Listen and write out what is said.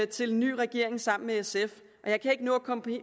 til en ny regering sammen med sf jeg kan ikke nå at komme